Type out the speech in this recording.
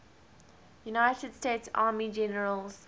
united states army generals